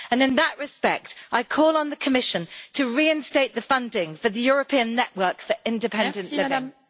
In that respect, I call on the Commission to reinstate the funding for the European Network on Independent Living.